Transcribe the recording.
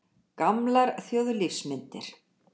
Gamlar þjóðlífsmyndir.